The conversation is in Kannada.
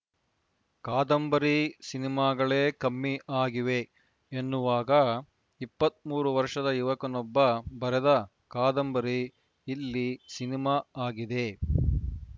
ಕಾದಂಬರಿ ಸಿನಿಮಾಗಳೇ ಕಮ್ಮಿ ಆಗಿವೆ ಎನ್ನುವಾಗ ಇಪ್ಪತ್ತ್ ಮೂರು ವರ್ಷದ ಯುವಕನೊಬ್ಬ ಬರೆದ ಕಾದಂಬರಿ ಇಲ್ಲಿ ಸಿನಿಮಾ ಆಗಿದೆ